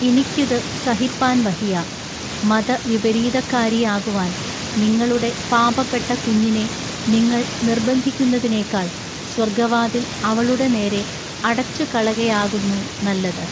ഇനിക്കിതു സഹിപ്പാൻ വഹിയാ. മത വിപരീതക്കാരിയാകുവാൻ നിങ്ങളുടെ പാപപ്പെട്ട കുഞ്ഞിനെ നിങ്ങൾ നിൎബന്ധിക്കുന്നതിനേക്കാൾ സ്വൎഗ്ഗവാതിൽ അവളുടെ നേരെ അടച്ചുകളകയാകുന്നു നല്ലത്.